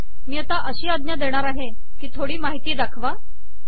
मी आता अशी आज्ञा देणार आहे की थोडी माहिती दाखवा